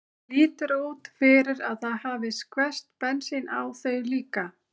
Það lítur út fyrir að það hafi skvest bensín á þau líka.